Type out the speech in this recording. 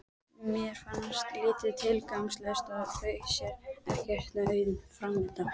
Mér fannst lífið tilgangslaust og sá ekkert nema auðn framundan.